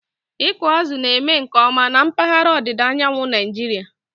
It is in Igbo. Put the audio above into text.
Ịkụ azụ̀ na-eme nke ọma na mpaghara ndịda Nigeria